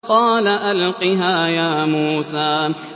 قَالَ أَلْقِهَا يَا مُوسَىٰ